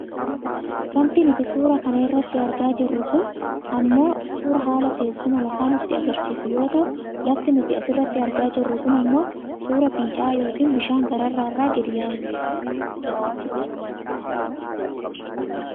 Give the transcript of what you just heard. Wanti nuti suuraa kana irratti argaa jirru kun ammoo suuraa haala teessuma lafaa nutti agarsiisu yoo ta'u lafti nuti asirratti argaa jirru kun ammoo suuraa fincaa'aa yookaan bishaan gaararraa gad yaa'uuti.